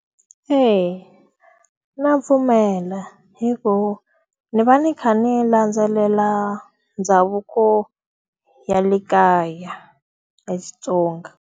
Eya, ndza pfumela. Hikuva, ndzi va ndzi kha ndzi landzelela ndhavuko ya le kaya ya Xitsonga.